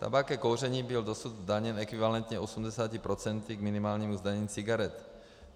Tabák ke kouření byl dosud zdaněn ekvivalentně 80 % k minimálnímu zdanění cigaret.